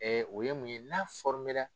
Ɛɛ o ye mun ye n'a fɔmera